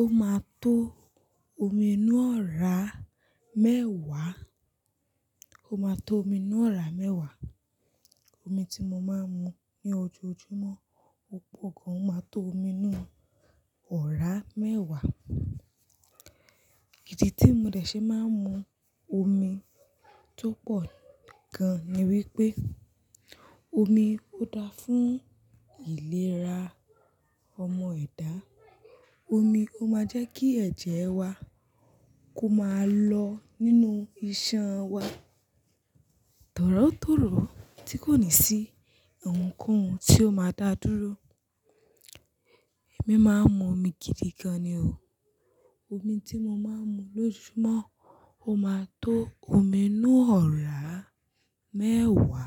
Ó máa tó omi inú ọ̀rá mẹ́wàá. Ó máa tó omi inú ọ̀rá mẹ́wàá. Omi tí mo máa ń mu ní ojoojúmọ́, ó pọ̀ gan, ó máa tó omi inú ọ̀rá mẹ́wàá. Ìdí tí mo dẹ̀ ṣe máa ń mu omi tó pọ̀ gan ni wípé, omi ó dá fún ìlera ọmọ ẹ̀dá. Omi ó máa jẹ́ kí ẹ̀jẹ̀ wa kó máa lọ nínú iṣan wa. Tọ̀rótọ̀ró tí kò ní sí ohunkóhun tí ó máa dá dúró. Èmi máa ń mu omi gidi gan ni o. Omi tí mo máa ń mu lójoojúmọ́ ó máa tó omi inú ọ̀rá mẹ́wàá.